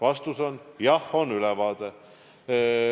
Vastus on: jah, on ülevaade.